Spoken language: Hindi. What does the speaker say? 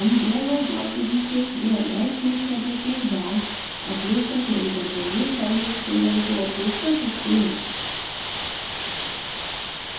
हम drag और drop विधि से या rightक्लिक करने के बाद upload का चयन करते हुए फ़ाइलों और folders को upload कर सकते हैं